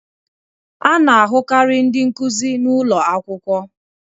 A na-ahụkarị ndị nkuzi n'ụlọ akwụkwọ